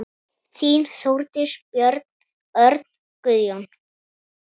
Þín, Þórdís, Björn, Örn, Guðjón.